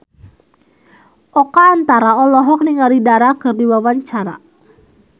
Oka Antara olohok ningali Dara keur diwawancara